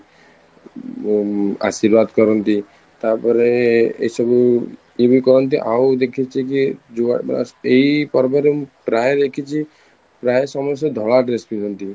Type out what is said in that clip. ଉଁ ଆଶୀର୍ବାଦ କରନ୍ତି ତାପରେ ଏ ସବୁ ଇଏ ବି କୁହନ୍ତି ଆଉ ଦେଖିଛି କି ଏଇ ପର୍ବରେ ପ୍ରାୟେ ଦେଖିଛି ପ୍ରାୟେ ସମସ୍ତେ ଧଳା dress ପିନ୍ଧନ୍ତି